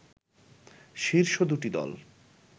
শীর্ষ দুটি দল